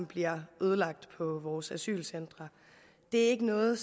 bliver ødelagt på vores asylcentre det er ikke noget